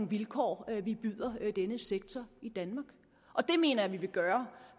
vilkår vi byder denne sektor i danmark og det mener jeg at vi ville gøre